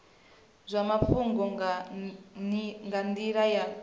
zwa mafhungo nga nila ya